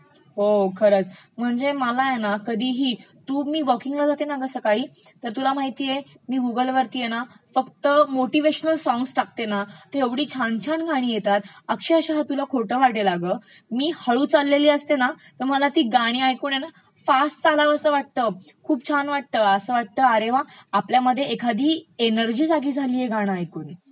हो खरचं, म्हणजे मला आहे ना कधीही, मा वॉकिंगला जाते ना सकाळी तर तुला महितिए मी गुगलवर फक्त मोटीव्हेशनल सॉंग्स टाकते ना तेव्हा ऐवढी छान छान गाणी येतात अक्षरशः तुला खोटं वाटेल अगं, मी हळु चाललेली असते ना तर मला ती गाणी ऐकून आहे ना फास्ट चालावसं वाटतं, खूप छान वाटतं असं वाटत अरे वा आपल्यामध्ये एखादी एनर्जी जागी झालिय हे गाणं ऐकून.